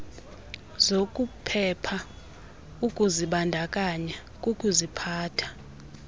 zokuphepha ukuzibandakanya kukuziphatha